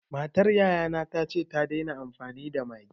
Matar yaya na ta ce ta daina amfani da Maggi.